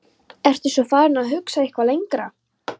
Ertu svo farinn að hugsa eitthvað lengra?